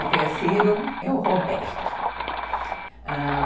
O terceiro é o Roberto, ãh...